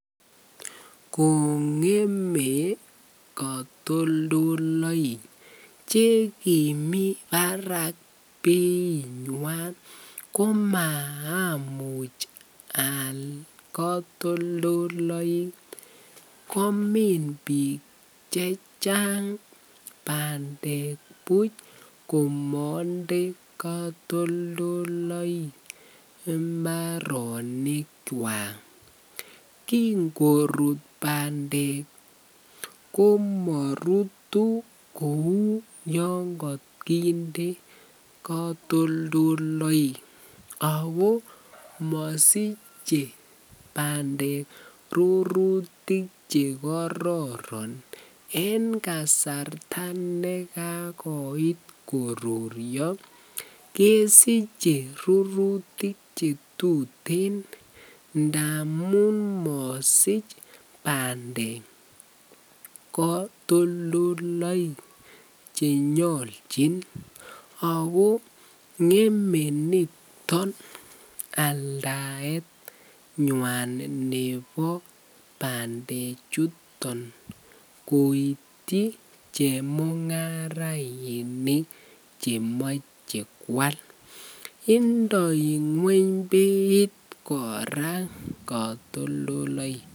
Kongeme kotoldoloik chekimii barak beit nywan komaamun aal kotoldoloik komin bik chechang pandek buch komonde kotoldoloik imbarenik kwak, kin korut pandek komorutu kou yon kokinde kotoldoloik Ako mosiche pandek rurutik chekororon en kasarta nekagoit koruryo kesiche rurutik chetuten ngamun mosich pandek kotoldoloik chenyolchin ako ngeme niton aldaet nywan nebo pandek chuton koityi chemungarainik chemoche kwal indoi gweny beit koraa kotoldoloik.